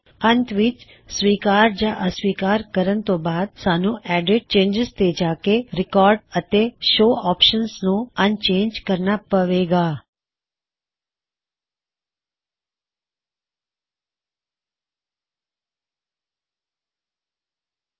ਅੰਤ ਵਿੱਚ ਸਵੀਕਾਰ ਜਾਂ ਅਸਵੀਕਾਰ ਕਰਨ ਤੋ ਬਾਅਦ ਸਾਨ੍ਹੂੱ ਐੱਡਿਟgtgtgtgtਚੈਨਜਿਜ਼ ਤੇ ਜਾਕੇ ਰਿਕਾਡ ਅਤੇ ਸ਼ੋ ਆਪਸ਼ਨਜ਼ ਨੂੰ ਅਨਚੈੱਕ ਕਰਨਾ ਪਵੇ ਗਾ